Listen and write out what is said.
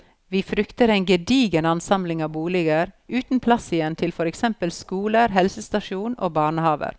Vi frykter en gedigen ansamling av boliger, uten plass igjen til for eksempel skoler, helsestasjon og barnehaver.